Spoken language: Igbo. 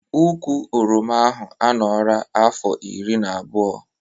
Ụkwụ oroma ahụ a nọra afọ iri na abụọ